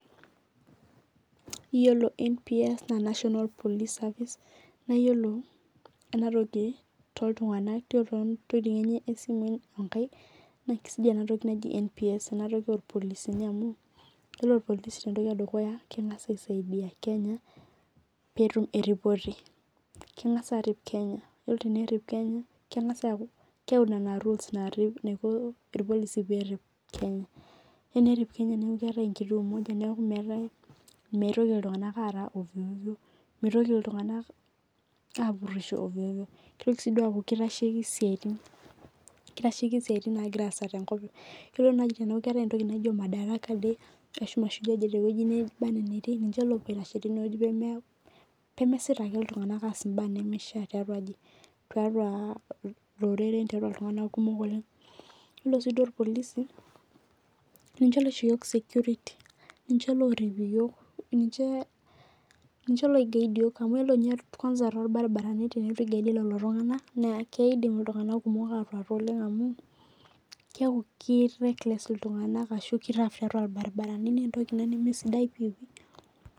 Iyiolo nps na national police service an iyolo enatoki na kesidai enatoki naji nps amu ore irpolisi entoki edukuya kengasa aret kenya minoto eripoto lkeyau metoripo enerip kenya neaku mitoki ltunganak apurisho nitokibaaku kirasheki mashoi naatae eneetae entoki naijo mashujaa day tewoi neba anaa enetii nanincheopuo aitashe tene tiqtua Loreren yiolonshida orpolisi ninche oisho yiok eseriani ninche loiguide yiok nakidim lolotunganak ashomo atuata oleng amu keaku leragh torbaribarani